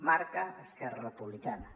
marca esquerra republicana